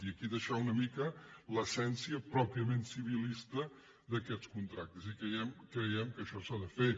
i aquí deixar una mica l’essència pròpiament civilista d’aquests contractes i creiem que això s’ha de fer